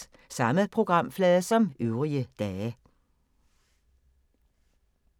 Samme programflade som øvrige dage